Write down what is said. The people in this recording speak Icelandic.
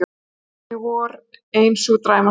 Kjörsókn í vor ein sú dræmasta